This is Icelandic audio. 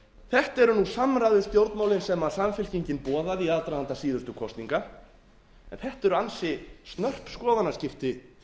þetta eru nú samræðustjórnmálin sem samfylkingin boðaði í aðdraganda síðustu kosninga en þetta eru ansi snörp skoðanaskipti